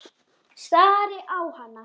Stari á hana.